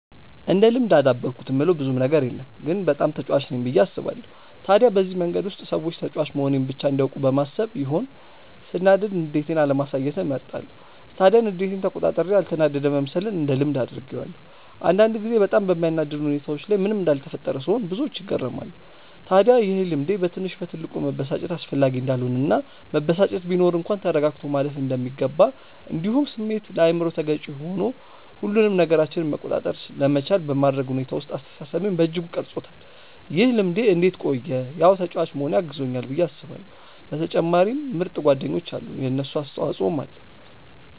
እንደ ልምድ አዳበርኩት የምለው ብዙም ነገር የለም ግን በጣም ተጫዋች ነኝ ብዬ አስባለው። ታዲያ በዚህ መንገድ ውስጥ ሰዎች ተጫዋች መሆኔን ብቻ እንዲያውቁ በማሰብ ይሆን ሰናዳድ ንዴቴን አለማሳየትን እመርጣለው። ታዲያ ንዴቴን ተቆጣጥሬ ያልተናደደ መምሰልን እንደ ልምድ አድርጌዋለው። አንዳንድ ጊዜ በጣም በሚያናድድ ሁኔታዎች ላይ ምንም እንዳልተፈጠረ ስሆን ብዙዎች ይገረማሉ። ታድያ ይሄ ልምዴ በትንሽ በትልቁ መበሳጨት አስፈላጊ እንዳልሆነ እና መበሳጨት ቢኖር እንኳን ተረጋግቶ ማለፍ እንደሚገባ እንዲሁም ስሜት ለአይምሮ ተገዢ ሆኑ ሁሉንም ነገራችንን መቆጣጠር ለመቻል በማድረግ ሁኔታ ውስጥ አስተሳሰቤን በእጅጉ ቀርፆታል። ይህ ልምድ እንዴት ቆየ ያው ተጫዋች መሆኔ አግዞኛል ብዬ አስባለው በተጨማሪም ምርጥ ጓደኞች አሉኝ የነሱም አስተፆይ ኣለዉ።